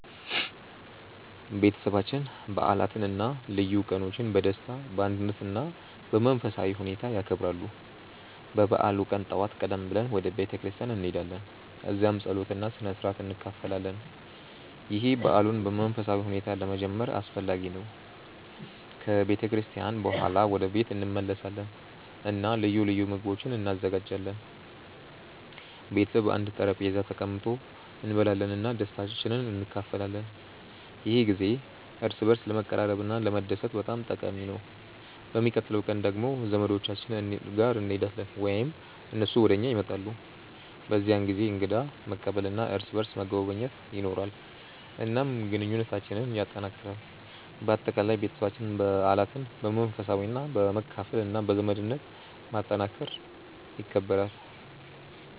ቤተሰባችን በዓላትን እና ልዩ ቀኖችን በደስታ፣ በአንድነት እና በመንፈሳዊ ሁኔታ ያከብራል። በበዓሉ ቀን ጠዋት ቀደም ብለን ወደ ቤተ ክርስቲያን እንሄዳለን፣ እዚያም ጸሎት እና ስነ-ሥርዓት እንካፈላለን። ይህ በዓሉን በመንፈሳዊ ሁኔታ ለመጀመር አስፈላጊ ነው። ከቤተ ክርስቲያን በኋላ ወደ ቤት እንመለሳለን እና ልዩ ልዩ ምግቦች እንዘጋጃለን። ቤተሰብ በአንድ ጠረጴዛ ተቀምጦ እንበላለን እና ደስታን እንካፈላለን። ይህ ጊዜ እርስ በርስ ለመቀራረብ እና ለመደሰት በጣም ጠቃሚ ነው። በሚቀጥለው ቀን ደግሞ ወደ ዘመዶቻችን እንሄዳለን ወይም እነሱ ወደ እኛ ይመጣሉ። በዚህ ጊዜ እንግዳ መቀበል እና እርስ በርስ መጎብኘት ይኖራል፣ እናም ግንኙነታችንን ያጠናክራል። በአጠቃላይ፣ ቤተሰባችን በዓላትን በመንፈሳዊነት፣ በመካፈል እና በዘመድነት ማጠናከር ይከብራል።